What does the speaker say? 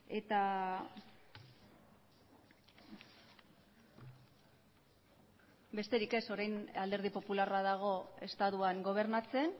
eta besterik ez orain alderdi popularra dago estatuan gobernatzen